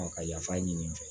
ka yafa ɲini n fɛ